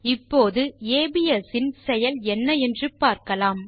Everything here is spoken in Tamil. இப்போது ஏபிஎஸ் இன் செயல் என்ன என்று பார்க்கலாம்